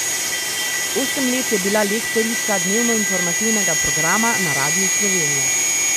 Osem let je bila lektorica dnevnoinformativnega programa na Radiu Slovenija.